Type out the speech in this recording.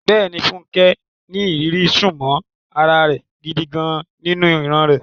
Bẹ́ẹ̀ni, Funke ní ìrírí súnmọ́ ara rẹ̀ gidi gan-an nínú ìran rẹ̀.